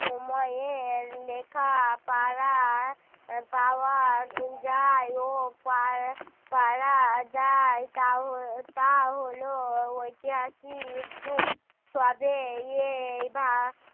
সময়ের লেখাপড়ার পাওয়া যায় ও পাওয়া যায় তা তা হল ঐতিহাসিক যুগ তবে এই